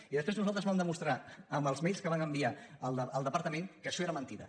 i després nosaltres vam demostrar amb els mailsal departament que això era mentida